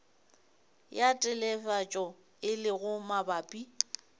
ya telefatšo e lego mabapi